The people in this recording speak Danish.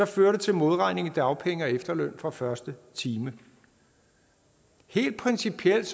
fører det til modregning i dagpenge og efterløn fra første time helt principielt